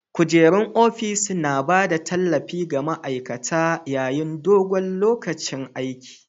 Kujerun ofis suna ba da tallafi ga ma'aikata yayin dogon lokacin aiki.